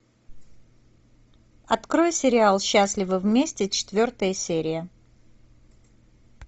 открой сериал счастливы вместе четвертая серия